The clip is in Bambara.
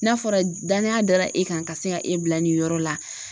N'a fɔra danaya dara e kan ka se ka e bila nin yɔrɔ la.